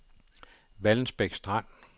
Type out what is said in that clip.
Vallensbæk Strand